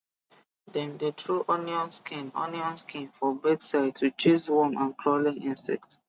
dem dey throw onion skin onion skin for bed side to chase worm and crawling insect